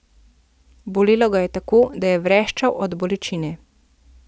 Bolelo ga je tako, da je vreščal od bolečine.